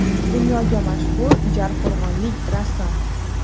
Dunyoga mashhur jarqo‘rg‘onlik rassom.